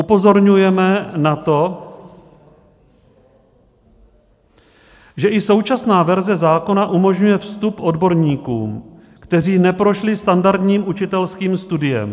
Upozorňujeme na to, že i současná verze zákona umožňuje vstup odborníkům, kteří neprošli standardním učitelským studiem.